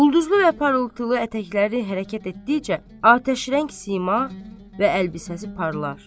Ulduzlu və parıltılı ətəkləri hərəkət etdikcə atəşrəng sima və əlbisəsi parlar.